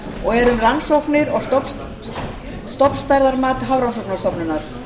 og er um rannsóknir og stofnstærðarmat hafrannsóknastofnunar